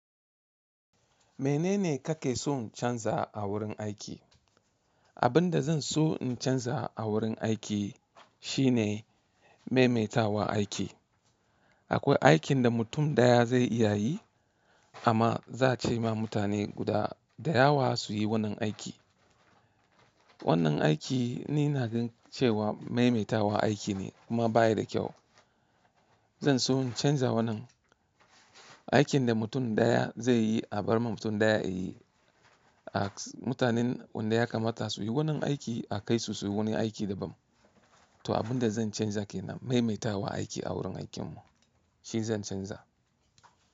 Menene kake son canza a wurin aiki? Abinda zanso in canza a wurin aiki shine maimaitawa aiki. Akwai aikinda mutum ɗaya zai iya yi, amma za'ace ma mutane guda dayawa suyi wannan aiki. Wannan aiki ni ina ganin cewa maimaitawa aikine kuma bayada kyau. Zanso in canza wannan, aikinda mutum ɗaya zaiyi a bar ma mutum ɗaya yayi. A mutanen wanda ya kamata suyi wannan aiki a kaisu suyi wani aiki daban. To abinda zan canza kenan maimaitawa aiki a wurin aikinmu, shizan canza.